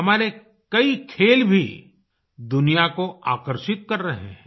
हमारे कई खेल भी दुनिया को आकर्षित कर रहे हैं